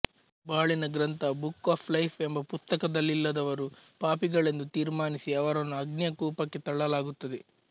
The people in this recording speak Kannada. ಬಾಳಿನ ಗ್ರಂಥ ಬುಕ್ ಆಫ್ ಲೈಫ್ ಎಂಬ ಪುಸ್ತಕದಲ್ಲಿಲ್ಲದವರು ಪಾಪಿಗಳೆಂದು ತೀರ್ಮಾನಿಸಿ ಅವರನ್ನು ಅಗ್ನಿಯ ಕೂಪಕ್ಕೆ ತಳ್ಳಲಾಗುತ್ತದೆ